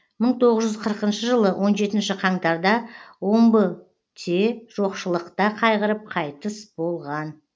мың тоғыз жүз қырқыншы жылы он жетінші қаңтарда омбыте жоқшылықта қайғырып қайтыс болған